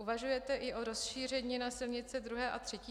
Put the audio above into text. Uvažujete i o rozšíření na silnice II. a III. třídy?